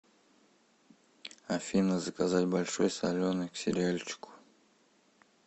афина заказать большой соленый к сериальчику